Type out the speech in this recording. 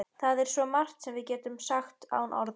Það er svo margt sem við getum sagt án orða.